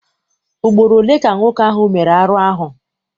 Ugboro ole ka nwoke ahụ mere arụ ahụ?